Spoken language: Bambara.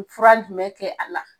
Fura jumɛn kɛ a la